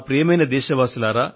ప్రియమైన నా దేశ వాసులారా